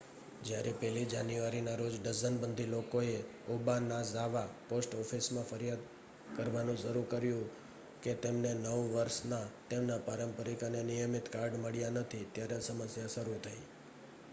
જ્યારે 1 જાન્યુઆરીના રોજ ડઝનબંધી લોકોએ ઓબાનાઝાવા પોસ્ટ ઑફિસમાં ફરિયાદ કરવાનું શરૂ કર્યું કે તેમને નવ વર્ષના તેમના પારંપરિક અને નિયમિત કાર્ડ મળ્યાં નથી ત્યારે સમસ્યા શરૂ થઈ